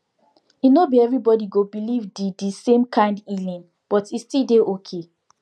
e no be everybody go believe the the same kind healing but e still dey okay